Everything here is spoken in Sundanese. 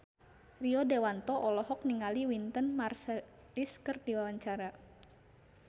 Rio Dewanto olohok ningali Wynton Marsalis keur diwawancara